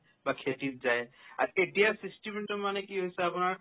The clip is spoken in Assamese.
বা খেতিত যায় আ তেতিয়া system তো মানে কি হৈছে আপোনাৰ